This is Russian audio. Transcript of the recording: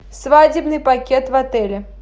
свадебный пакет в отеле